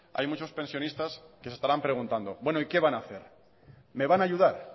hay muchos pensionistas que se estarán preguntando bueno y qué van a hacer me van a ayudar